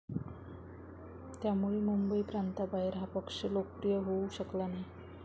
त्यामुळे मुंबईप्रांताबाहेर हा पक्ष लोकप्रिय होऊ शकला नाही.